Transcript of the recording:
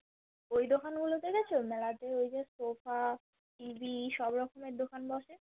ওই দোকান গুলো তে গেছো মেলাতে ঐযে Sofa, TV সব রকমের দোকান বসে